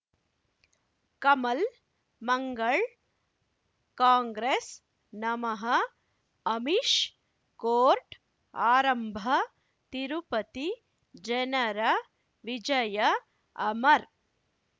ಕಮಲ್ ಮಂಗಳ್ ಕಾಂಗ್ರೆಸ್ ನಮಃ ಅಮಿಷ್ ಕೋರ್ಟ್ ಆರಂಭ ತಿರುಪತಿ ಜನರ ವಿಜಯ ಅಮರ್